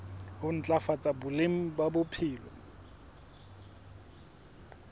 ho ntlafatsa boleng ba bophelo